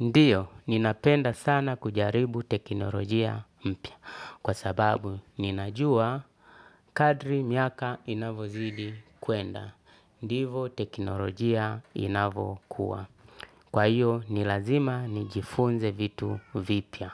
Ndiyo, ninapenda sana kujaribu teknolojia mpya. Kwa sababu, ninajua kadri miaka inavozidi kuenda. Ndivo teknolojia inavokuwa. Kwa hiyo, nilazima nijifunze vitu vipya.